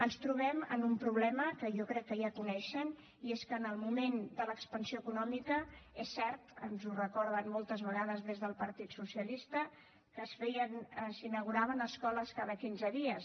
ens trobem amb un problema que jo crec que ja coneixen i és que en el moment de l’expansió econòmica és cert ens ho recorden moltes vegades des del partit socia lista s’inauguraven escoles cada quinze dies